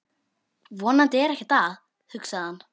Vonandi er ekkert að, hugsaði hann.